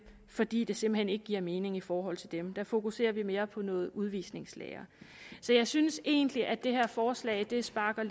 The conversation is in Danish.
fordi det simpelt hen ikke giver mening i forhold til dem der fokuserer vi mere på noget udvisningslære så jeg synes egentlig at det her forslag lidt sparker